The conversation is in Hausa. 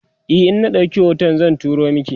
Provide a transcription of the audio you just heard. e in na ɗauki hoton zan turo maki